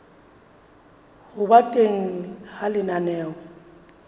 ho ba teng ha lenaneo